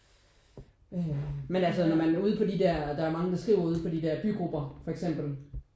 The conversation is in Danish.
Øh men altså når man er ude på de der der er mange der skriver ude på de der bygrupper for eksempel